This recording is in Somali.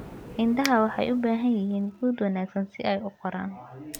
Idaha waxay u baahan yihiin quud wanaagsan si ay u koraan.